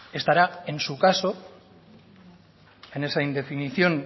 estará en su caso en esa indefinición